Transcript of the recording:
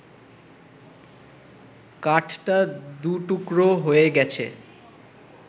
কাঠটা দু টুকরো হয়ে গেছে